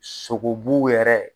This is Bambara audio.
Sogo bu yɛrɛ